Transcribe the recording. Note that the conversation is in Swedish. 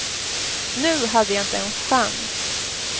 Nu hade jag inte en chans.